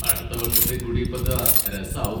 അടുത്ത വർഷത്തെ ഗുഡി പദ്വ രസാവും.